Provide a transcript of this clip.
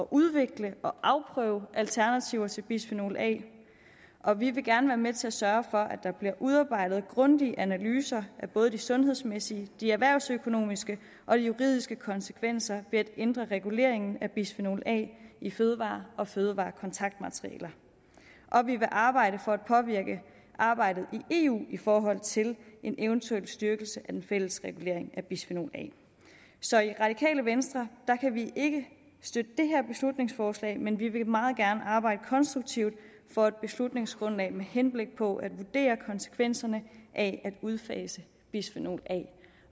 udvikle og afprøve alternativer til bisfenol a og vi vil gerne være med til at sørge for at der bliver udarbejdet grundige analyser af både de sundhedsmæssige de erhvervsøkonomiske og de juridiske konsekvenser ved at ændre reguleringen af bisfenol a i fødevarer og fødevarekontaktmaterialer og vi vil arbejde for at påvirke arbejdet i eu i forhold til en eventuel styrkelse af den fælles regulering af bisfenol a så i radikale venstre kan vi ikke støtte det her beslutningsforslag men vi vil meget gerne arbejde konstruktivt for et beslutningsgrundlag med henblik på at vurdere konsekvenserne af at udfase bisfenol a